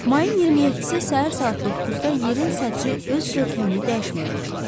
Mayın 27-si səhər saat 9-da yerin səthi öz görkəmini dəyişməyə başladı.